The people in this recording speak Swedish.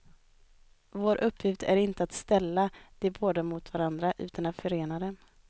Vår uppgift är inte att ställa de båda mot varandra, utan att förena dem.